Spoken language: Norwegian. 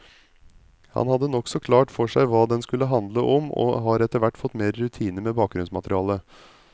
Han hadde nokså klart for seg hva den skulle handle om, og har etterhvert fått mer rutine med bakgrunnsmaterialet.